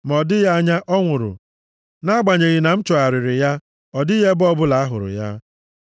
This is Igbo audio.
ma ọ dịghị anya, ọ nwụrụ, nʼagbanyeghị na m chọgharịrị ya, ọ dịghị ebe ọbụla a hụrụ ya.